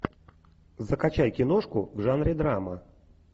закачай киношку в жанре драма